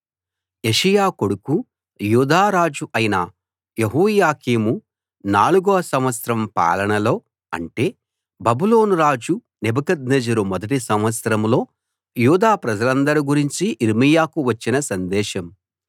యోషీయా కొడుకూ యూదా రాజు అయిన యెహోయాకీము నాలుగో సంవత్సరం పాలనలో అంటే బబులోను రాజు నెబుకద్నెజరు మొదటి సంవత్సరంలో యూదా ప్రజలందరి గురించి యిర్మీయాకు వచ్చిన సందేశం